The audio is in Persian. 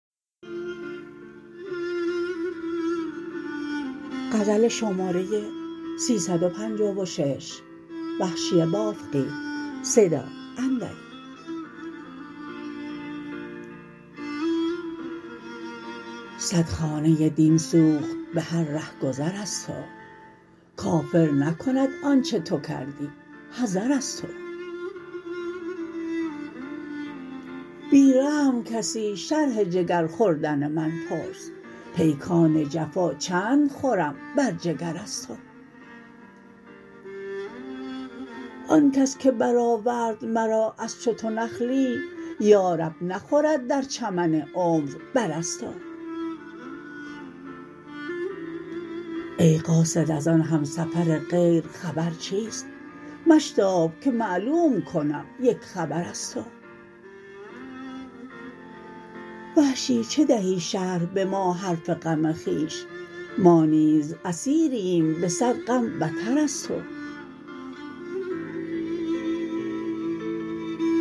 سد خانه دین سوخت به هر رهگذر از تو کافر نکند آنچه تو کردی حذر از تو بی رحم کسی شرح جگر خوردن من پرس پیکان جفا چند خورم بر جگر از تو آنکس که برآورد مرا از چو تو نخلی یارب نخورد در چمن عمر بر از تو ای قاصد از آن همسفر غیر خبر چیست مشتاب که معلوم کنم یک خبر از تو وحشی چه دهی شرح به ما حرف غم خویش ما نیز اسیریم به سد غم بتر از تو